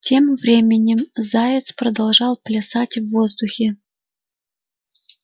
тем временем заяц продолжал плясать в воздухе